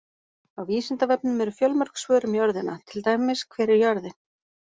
Á Vísindavefnum eru fjölmörg svör um jörðina, til dæmis: Hver er jörðin?